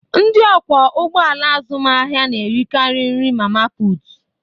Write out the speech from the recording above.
Ndị ọkwọ ụgbọ ala azụmahịa na-erikarị nri mama putu.